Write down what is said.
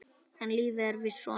En lífið er víst svona.